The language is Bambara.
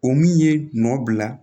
O min ye nɔ bila